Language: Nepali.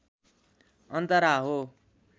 अन्तरा हो